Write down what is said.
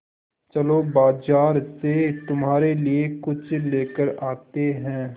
चलो बाज़ार से तुम्हारे लिए कुछ लेकर आते हैं